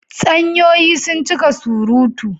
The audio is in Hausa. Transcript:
Tsanyoyi sun cika surutu.